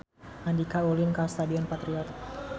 Andika ulin ka Stadion Patriot